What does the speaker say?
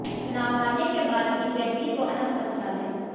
चुनाव हारने के बाद भी जेटली को अहम मंत्रालय